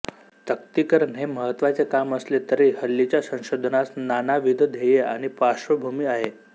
तक्तीकरण हे महत्त्वाचे काम असले तरी हल्लीच्या संशोधनास नानाविध ध्येये आणि पार्श्वभूमी आहे